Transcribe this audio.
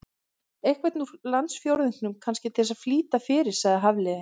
Einhvern úr landsfjórðungnum, kannski, til að flýta fyrir- sagði Hafliði.